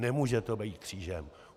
Nemůže to být křížem.